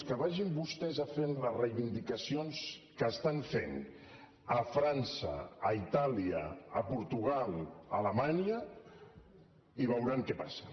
que vagin vostès a fer les reivindicacions que estan fent a frança a itàlia a portugal a alemanya i veuran què passa